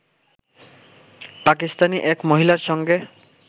পাকিস্তানি এক মহিলার সঙ্গে